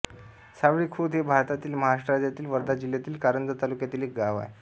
सावळी खुर्द हे भारतातील महाराष्ट्र राज्यातील वर्धा जिल्ह्यातील कारंजा तालुक्यातील एक गाव आहे